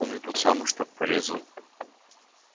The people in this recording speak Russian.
помню тот самый что порезал